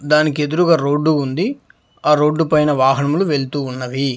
దానికి ఎదురుగా రోడ్డు ఉంది ఆ రోడ్డుపైన వాహనములు వెళుతూ ఉన్నవి.